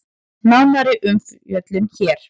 Nánari umfjöllun hér